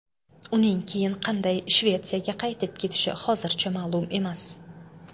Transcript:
Uning keyin qanday Shvetsiyaga qaytib ketishi hozircha ma’lum emas.